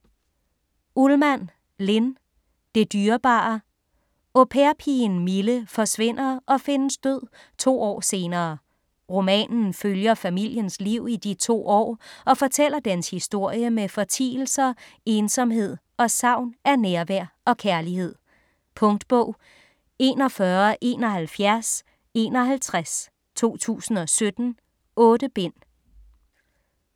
Ullmann, Linn: Det dyrebare Au pair-pigen Mille forsvinder og findes død to år senere. Romanen følger familiens liv i de to år og fortæller dens historie med fortielser, ensomhed og savn af nærvær og kærlighed. Punktbog 417151 2017. 8 bind.